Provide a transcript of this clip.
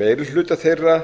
meiri hluta þeirra